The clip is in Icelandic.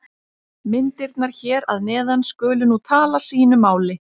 Myndirnar hér að neðan skulu nú tala sínu máli.